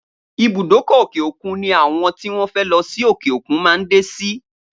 Ibùdókọ̀ òkè-òkun ni àwọn tí wọ́n fẹ́ lọ sí òkè-òkun máa ń dé sí